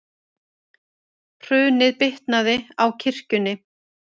Hrunið bitnaði á kirkjunni